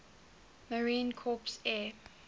marine corps air